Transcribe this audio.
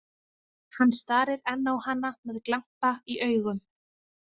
Hann starir enn á hana með glampa í augum.